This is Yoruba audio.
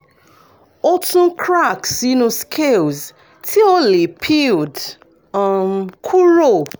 o tun crack sinu scales ti o le peeled um kuro